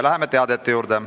Läheme teadete juurde.